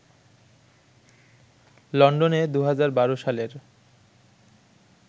লন্ডনে ২০১২ সালের